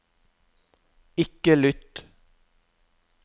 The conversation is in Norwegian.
ikke lytt